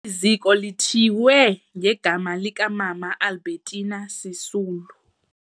Eli ziko lithiywe ngegama likaMama Albertina Sisulu.